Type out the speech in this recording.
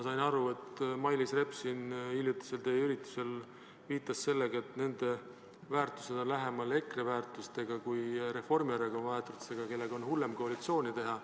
Samas, Mailis Reps siin teie hiljutisel üritusel viitas sellele, et nende väärtused on lähemal EKRE väärtustele kui Reformierakonna väärtustele, viimastega on hullem koalitsiooni teha.